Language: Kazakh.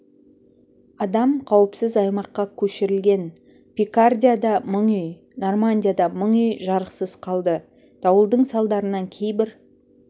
адам қауіпсіз аймаққа көшірілген пикардияда мың үй нормандияда мың үй жарықсыз қалды дауылдың салдарынан кейбір